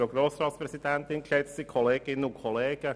Kommissionspräsident der FiKo.